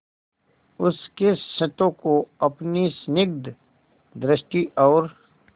उसके क्षतों को अपनी स्निग्ध दृष्टि और